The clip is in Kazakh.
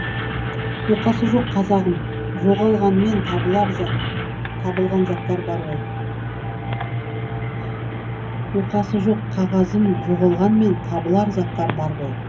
оқасы жоқ қағазым жоғалғанмен табылған заттар бар ғой оқасы жоқ қағазым жоғалғанмен табылар заттар бар ғой